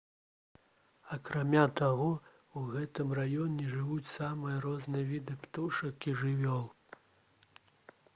акрамя таго у гэтым раёне жывуць самыя розныя віды птушак і жывёл